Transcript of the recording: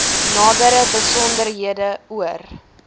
nadere besonderhede oor